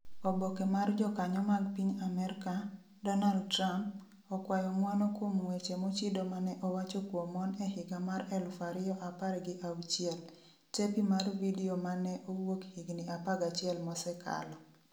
Oboke mar jokanyo mag piny Amerka, Donald Trump, okwayo ng'uono kuom weche mochido mane owacho kuom mon e higa mar 2016. tepi mar vidio ma ne owuok higni 11 mosekalo.